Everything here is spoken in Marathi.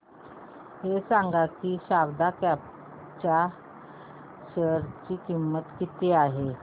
हे सांगा की शारदा क्रॉप च्या शेअर ची किंमत किती आहे